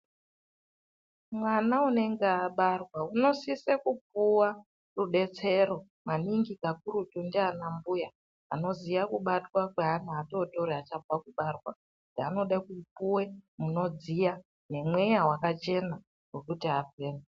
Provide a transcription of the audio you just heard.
Mwana unenge abarwa unosise kupuwa rudetsero maningi kakurutu ndiana mbuya anoziya kubatwa kweana adoodori achabva kubarwa anode kupuwa zvinodziya nemweya wakachena wekuti afeme.